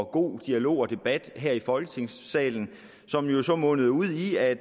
god dialog og debat her i folketingssalen som jo så mundede ud i at